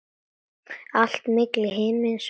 Allt milli himins og jarðar.